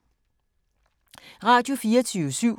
Radio24syv